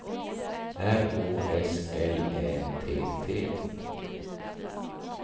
R Å S L Ä T T